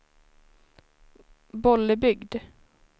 Bollebygd